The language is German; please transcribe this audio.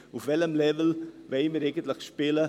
Auf welchem Level wollen wir eigentlich spielen?